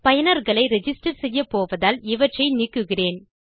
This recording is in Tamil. பயனர்களை ரிஜிஸ்டர் செய்யப்போவதால் இவற்றை நீக்குகிறேன்